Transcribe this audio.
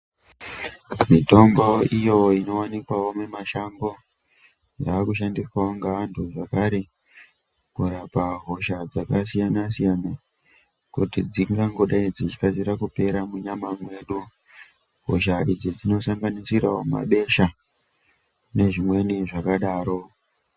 Mitombo iyo inowanikwa mumashango yakushandiswa ngevanhu zvekafe kurapa hosha dzakasiyana siyana kuti dzingangidai dzeikasira kupera munyama mwedu hosha idzi dzinosanganisirawo mabesha nezvimweni zvakadaro.